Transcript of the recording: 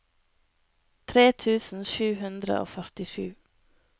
tre tusen sju hundre og førtisju